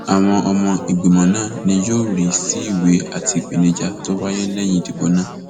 àwọn ọmọ ìgbìmọ náà ni yóò rí sí ìwé àti ìpèníjà tó wáyé lẹyìn ìdìbò náà